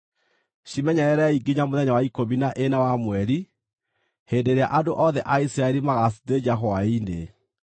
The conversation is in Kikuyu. Cimenyererei nginya mũthenya wa ikũmi na ĩna wa mweri, hĩndĩ ĩrĩa andũ othe a Isiraeli magaacithĩnja hwaĩ-inĩ.